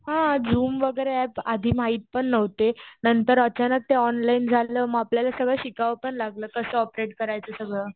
हा. झूम वगैरे ऍप आधी माहित पण नव्हते. नंतर अचानक ते ऑनलाईन झालं. मग आपल्याला सगळं शिकावं पण लागलं कसं ऑपरेट करायचं सगळं.